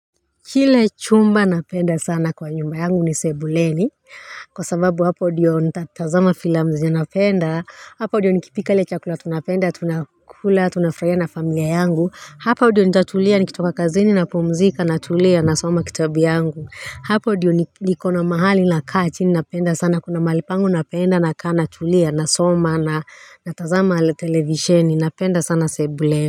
Kile chumba napenda sana kwa nyumba yangu ni sebuleni Kwa sababu hapo ndio nitatazama filamu zenye napenda. Hapo ndio nikipika ile chakula tunapenda tunakula tunafurahia na familia yangu. Hapo ndio nitatulia nikitoka kazini napumzika natulia, nasoma kitabu yangu. Hapo ndio nikona mahali nakaa chini napenda sana kuna mahali pangu napenda nakaa natulia nasoma na natazama televisheni. Napenda sana sebuleni.